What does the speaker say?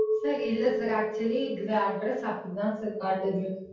Sir இல்ல sir actually இதுல address அப்படி தான் sir காட்டுது.